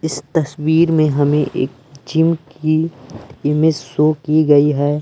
इस तस्वीर में हमें एक जिम की इमेज शो की गई है।